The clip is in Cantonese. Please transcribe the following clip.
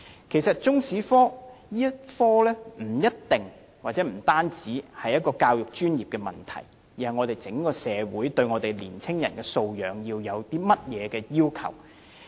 其實如何教授中史科不一定亦不單是一個教育專業問題，而是關乎香港整個社會對年青人素養的要求。